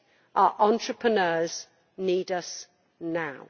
Our entrepreneurs need us now.